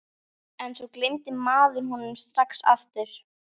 En svo gleymdi maður honum strax aftur.